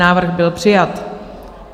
Návrh byl přijat.